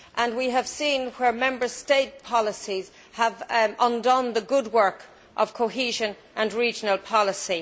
We have seen where Member State policies have undone the good work of cohesion and regional policy.